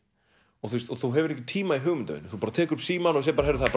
og þú hefur ekki tíma í hugmyndavinnu þú bara tekur upp símann og segir heyrðu það